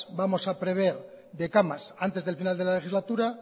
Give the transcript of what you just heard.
vamos a prever de camas antes del final de la legislatura